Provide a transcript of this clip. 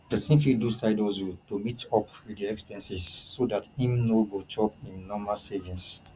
person fit do side hustle to meet up with the expenses so dat im no go chop im normal savings